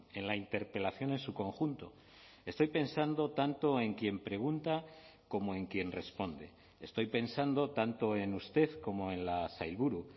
en la interpelación en su conjunto estoy pensando tanto en quien pregunta como en quien responde estoy pensando tanto en usted como en la sailburu